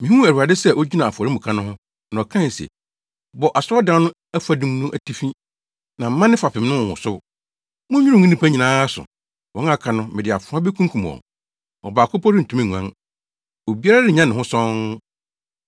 Mihuu Awurade sɛ ogyina afɔremuka no ho, na ɔkae se, “Bɔ Asɔredan no afadum no atifi na mma ne fapem no nwosow. Munnwiriw ngu nnipa no nyinaa so; wɔn a aka no mede afoa bekunkum wɔn. Ɔbaako mpo rentumi nguan, obiara rennya ne ho sɔnn.